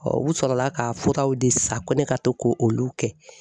u sɔrɔla ka fɔtaw de sa ko ne ka to k'o olu kɛ.